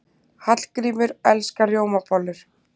Hallgrímur elskar rjómabollur.